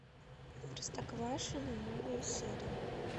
простоквашино новые серии